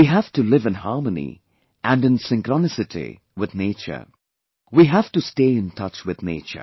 We have to live in harmony and in synchronicity with nature, we have to stay in touch with nature